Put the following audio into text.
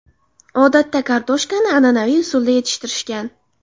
Odatda kartoshkani an’anaviy usulda yetishtirishgan.